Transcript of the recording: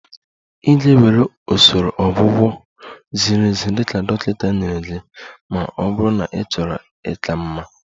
Ị ga-ewere usoro ọgwụgwọ ziri ezi dị ka dọkịta nyere gị ma ọ bụrụ na ịchọrọ ịka mma